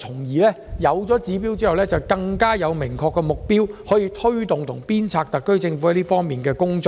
有了指標後，我們便有更明確的目標，可推動和鞭策特區政府這方面的工作。